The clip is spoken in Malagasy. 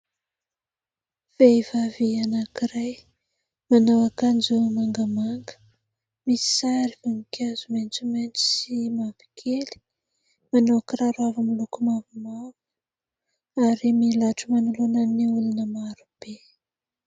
Vehivavy anankiray manao akanjo mangamanga, misy sary voninkazo maitsomaitso sy mavokely, manao kiraro avo miloko mavomavo ary milatro manoloana ny olona maro be.